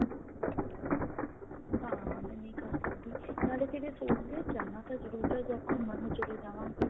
ਹਾਂ ਮੈਂ ਨਹੀਂ ਕਰ ਸਕਦੀ ਨਾਲੇ ਫਿਰ ਸੋਚਦੇ ਜਾਣਾ ਤਾਂ ਜਰੂਰ ਆ ਚਾਹੇ ਘੁੰਮਣ ਲਈ ਚੱਲੇ ਜਾਵਾਂਗੇ